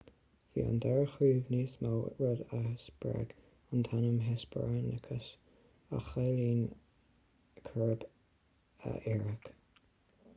bhí an dara chrúb níos mó rud a spreag an t-ainm hesperonychus a chiallaíonn crúb iartharach